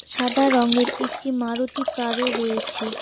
সাদা রঙের একটি মারুতি কার -ও রয়েছে।